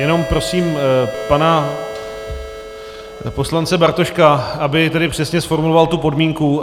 Jenom prosím pana poslance Bartoška, aby tedy přesně zformuloval tu podmínku.